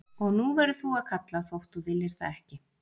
Og nú verður þú að kalla þótt þú viljir það ekki.